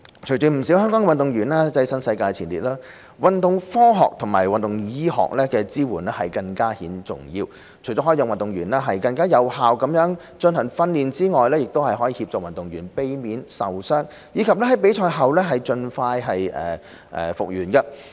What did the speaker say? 隨着不少香港運動員躋身世界前列，運動科學和運動醫學的支援更顯重要，除可讓運動員更有效進行訓練外，亦可協助運動員避免受傷，以及在比賽後盡快復原。